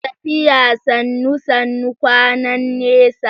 Tafiya Sannu Sannu, kwana nesa.